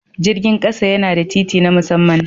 Jirgin ƙasa yana da titi na musamman.